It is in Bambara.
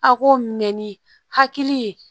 A k'o mɛn ni hakili ye